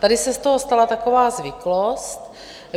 Tady se z toho stala taková zvyklost.